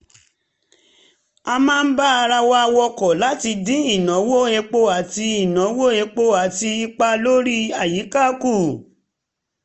a máa ń bá ara wa wọkọ̀ láti dín ìnáwó epo àti ìnáwó epo àti ipa lórí àyíká kù